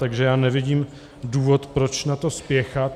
Takže já nevidím důvod, proč na to spěchat.